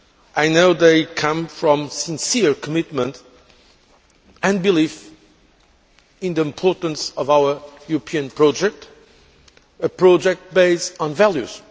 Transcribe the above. I know they come from a sincere commitment to and belief in the importance of our European project, a project based on values.